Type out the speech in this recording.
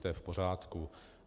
To je v pořádku.